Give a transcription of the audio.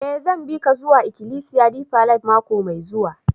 Eh, zan bi ka zuwa ikilisiya Deeper life mako mai zuwa.